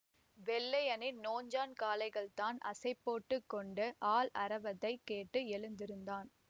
வெள்ளையனின் நோஞ்சான் காளைகள்தான் அசை போட்டு கொண்டு ஆள் அரவத்தைக் கேட்டு எழுந்திருந்தான்